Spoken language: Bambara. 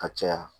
Ka caya